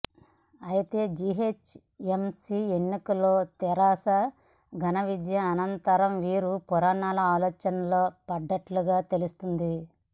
అయితే జిహెచ్ఎంసి ఎన్నికల్లో తెరాస ఘన విజయం అనంతరం వీరు పునరాలోచనలో పడ్డట్లుగా తెలుస్తోంది